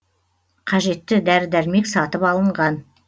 қажетті дәрі дәрмек сатып алынған